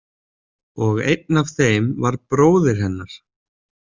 Og einn af þeim var bróðir hennar.